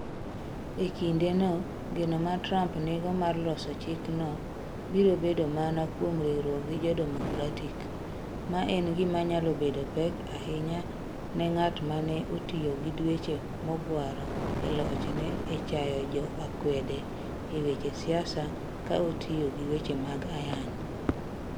E kindeno, geno ma Trump nigo mar loso chikno biro bedo mana kuom riwruok gi jo-Democratic, ma en gima nyalo bedo pek ahinya ne ng'at ma ne otiyo gi dweche mogwaro e lochne e chayo jo akwede e weche siasa ka otiyo gi weche mag ayany.